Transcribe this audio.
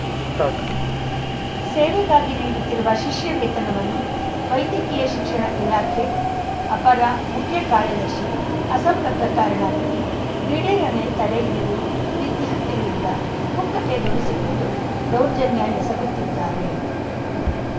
start ಸೇವೆಗಾಗಿ ನೀಡುತ್ತಿರುವ ಶಿಷ್ಯ ವೇತನವನ್ನು ವೈದ್ಯಕೀಯ ಶಿಕ್ಷಣ ಇಲಾಖೆ ಅಪರ ಮುಖ್ಯ ಕಾರ್ಯದರ್ಶಿ ಅಸಂಬದ್ಧ ಕಾರಣ ನೀಡಿ ದಿಢೀರನೇ ತಡೆ ಹಿಡಿದು ವಿದ್ಯಾರ್ಥಿಗಳಿಂದ ಪುಕ್ಕಟೆ ದುಡಿಸಿಕೊಂಡು ದೌರ್ಜನ್ಯ ಎಸಗುತ್ತಿದ್ದಾರೆ